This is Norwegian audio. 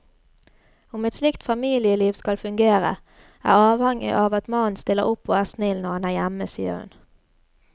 Om et slikt familieliv skal fungere er avhengig av at mannen stiller opp og er snill, når han er hjemme, sier hun.